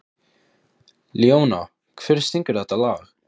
Leóna, hver syngur þetta lag?